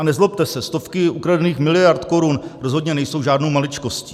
A nezlobte se, stovky ukradených miliard korun rozhodně nejsou žádnou maličkostí.